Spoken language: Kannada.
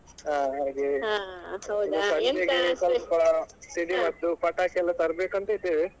ಹ ಹಾ ಇನ್ನು ಸಂಜೆಗೆ ಸ್ವಲ್ಪ ಸಿಡಿಮದ್ದು ಪಟಾಕಿಯೆಲ್ಲಾ ತರ್ಬೇಕಂತ ಇದ್ದೇವೆ.